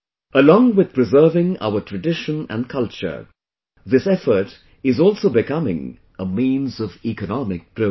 Along with preserving our tradition and culture, this effort is also becoming a means of economic progress